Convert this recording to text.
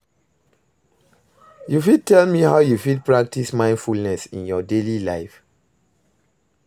you fit tell me how you fit practice mindfulness in your daily life?